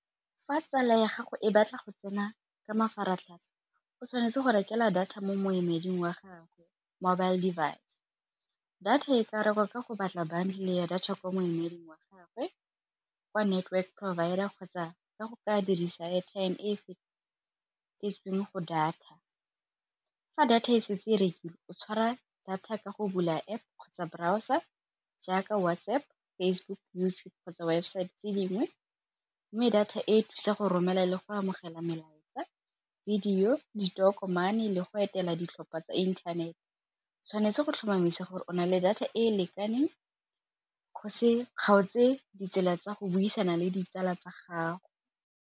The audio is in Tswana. Fa tsala ya gago e batla go tsena ka mafaratlhatlha o tshwanetse go rekela data mo moemedi wa gagwe mobile device, data e ka rekwa ka go batla bundle ya data kwa moemedi wa gagwe, ko network provider kgotsa ka go ka dirisa airtime go data. Fa data e setse e rekile o tshwara data ka go bula App kgotsa browser jaaka WhatsApp, Facebook, YouTube kgotsa website tse dingwe, mme data e thusa go romela le go amogela melaetsa, video, ditokomane le go etela ditlhopha tsa inthanete tshwanetse go tlhomamisa gore o na le data e e lekaneng go se kgaotse ditsela tsa go buisana le ditsala tsa gago.